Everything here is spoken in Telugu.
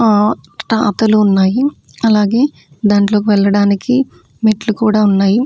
ఆ ఆతోలు ఉన్నాయి అలాగే దాంట్లోక్ వెళ్లడానికి మెట్లు కూడా ఉన్నాయి.